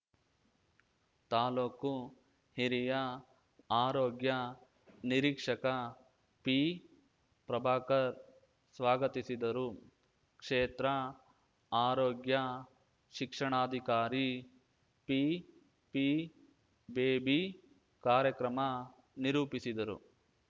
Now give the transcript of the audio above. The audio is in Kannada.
ತಾಲೂಕು ಹಿರಿಯ ಆರೋಗ್ಯ ನಿರೀಕ್ಷಕ ಪಿಪ್ರಭಾಕರ್‌ ಸ್ವಾಗತಿಸಿದರು ಕ್ಷೇತ್ರ ಆರೋಗ್ಯ ಶಿಕ್ಷಣಾಧಿಕಾರಿ ಪಿಪಿ ಬೇಬಿ ಕಾರ್ಯಕ್ರಮ ನಿರೂಪಿಸಿದರು